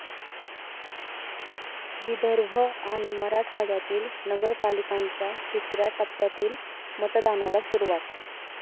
विदर्भ आणि मराठवाड्यातील नगरपालिकांच्या तिसऱ्या टप्प्यातील मतदानाला सुरुवात